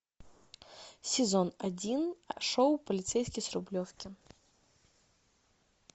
сезон один шоу полицейский с рублевки